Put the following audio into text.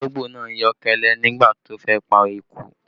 Ológbò náà yọ́ kẹ́lẹ́ nígbà tó fẹ́ pa eku